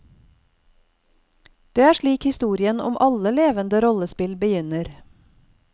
Det er slik historien om alle levende rollespill begynner.